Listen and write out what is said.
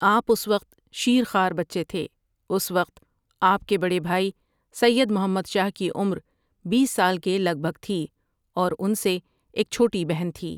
آپؒ اس وقت شیر خوار بچے تھے اس وقت آپؒ کے بڑے بھائی سید محمد شاہؒ کی عمربیس سال کے لگ بھگ تھی اور ان سے ایک چھوٹی بہن تھی ۔